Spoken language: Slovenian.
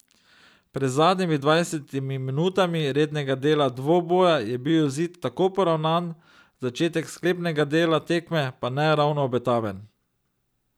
Pred zadnjimi dvajsetimi minutami rednega dela dvoboja je bil izid tako poravnan, začetek sklepnega dela tekme pa ne ravno obetaven.